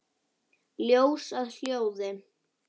Ljós að hljóði?